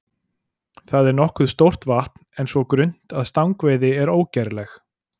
Það er nokkuð stórt vatn en svo grunnt að stangveiði er ógerleg.